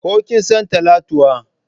Ko kin san Talatuwa?